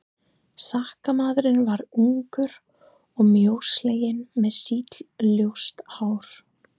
Sakamaðurinn var ungur og mjósleginn með sítt ljóst hár.